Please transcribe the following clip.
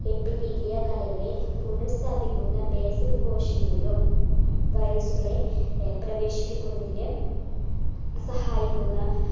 epithelia കലകളെ പുനഃസ്ഥാപിക്കുന്ന basal കോശങ്ങളിലും virus കളെ ഏർ പ്രവേശിപ്പിക്കുന്നതിന് സഹായിക്കുന്ന